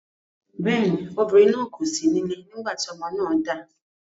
Bẹ́ẹ̀ ni, obìnrin náà kò sí nílé nígbà tí ọmọ náà dà.